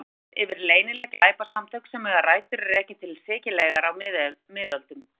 Mafía er orð yfir leynileg glæpasamtök sem eiga rætur að rekja til Sikileyjar á miðöldum.